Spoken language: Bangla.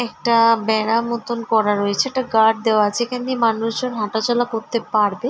একটা-আ বেড়া মতন করা রয়েছে একটা গার্ড দেওয়া আছে। এখান দিয়ে মানুষ জন হাঁটা চলা করতে পারবে।